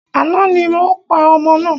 Àná ni o pa ọmọ náà.